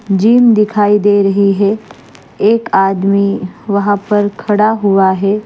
Gym दिखाई दे रही है एक आदमी वहां पर खड़ा हुआ है।